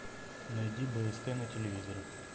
найди бст на телевизоре